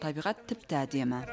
табиғат тіпті әдемі